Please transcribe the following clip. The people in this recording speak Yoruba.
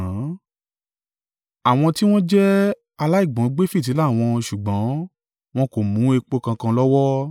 Àwọn tí wọ́n jẹ́ aláìgbọ́n gbé fìtílà wọn ṣùgbọ́n wọn kò mú epo kankan lọ́wọ́.